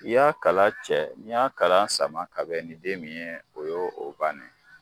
I y'a kala cɛ n'i y'a kala sama ka bɛ ni den min ye o yo o banni ye.